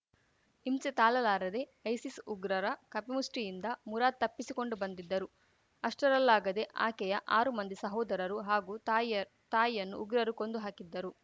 ಹಿಂಸೆ ತಾಲಲಾರದೆ ಐಸಿಸ್‌ ಉಗ್ರರ ಕಪಿಮುಷ್ಟಿಯಿಂದ ಮುರಾದ್‌ ತಪ್ಪಿಸಿಕೊಂಡು ಬಂದಿದ್ದರು ಅಷ್ಟರಲ್ಲಾಗದೇ ಆಕೆಯ ಆರು ಮಂದಿ ಸೋದರರು ಹಾಗೂ ತಾಯಿಯ ತಾಯಿಯನ್ನು ಉಗ್ರರು ಕೊಂದು ಹಾಕಿದ್ದರು